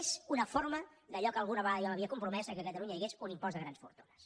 és una forma d’allò a què alguna vegada jo m’havia compromès que a catalunya hi hagués un impost de grans fortunes